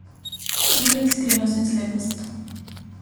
Torej, iskrenost in slepost.